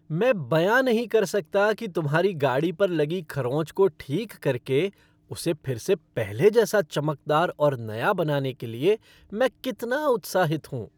मैं बयां नहीं कर सकता कि तुम्हारी गाड़ी पर लगी खरोंच को ठीक करके उसे फिर से पहले जैसा चमकदार और नया बनाने के लिए मैं कितना उत्साहित हूँ।